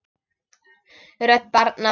Rödd barna